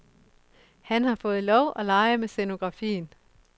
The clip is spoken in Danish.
Han har fået lov at lege med scenografien.